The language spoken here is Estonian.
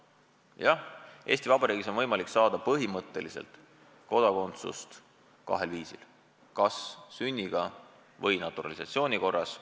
Jah, Eesti Vabariigis on põhimõtteliselt võimalik saada kodakondsust kahel viisil: kas sünniga või naturalisatsiooni korras.